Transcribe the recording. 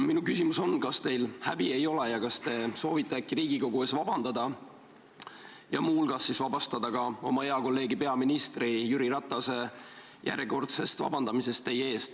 Minu küsimus on, kas teil häbi ei ole ja kas te soovite äkki Riigikogu ees vabandada ja muu hulgas vabastada oma hea kolleegi peaminister Jüri Ratase järjekordsest vabandamisest teie eest.